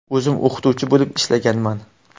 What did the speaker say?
O‘zim o‘qituvchi bo‘lib ishlaganman.